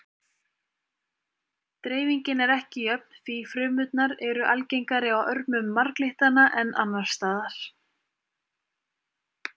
Dreifingin er ekki jöfn því frumurnar eru algengari á örmum marglyttanna en annars staðar.